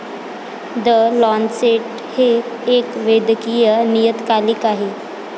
The Lancet हे एक वैदकीय नियतकालिक आहे.